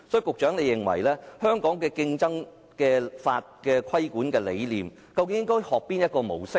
局長，你認為香港競爭法的規管理念應該學習哪種模式呢？